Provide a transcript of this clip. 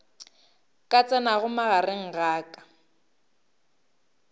ka tsenago magareng a ka